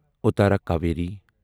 اتارا کاویری